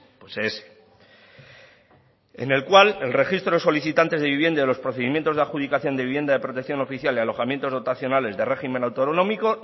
pues ese en el cual el registro de solicitantes de vivienda y los procedimientos de la adjudicación de vivienda de protección oficial y alojamientos dotacionales de régimen autonómico